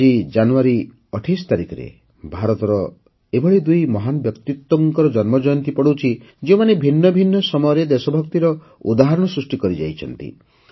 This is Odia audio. ଆଜି ଜାନୁୟାରୀ ୨୮ ତାରିଖରେ ଭାରତର ଏଭଳି ଦୁଇ ମହାନ ବ୍ୟକ୍ତିତ୍ୱଙ୍କର ଜନ୍ମଜୟନ୍ତୀ ପଡୁଛି ଯେଉଁମାନେ ଭିନ୍ନ ଭିନ୍ନ ସମୟରେ ଦେଶଭକ୍ତିର ଉଦାହରଣ ସୃଷ୍ଟି କରିଯାଇଛନ୍ତି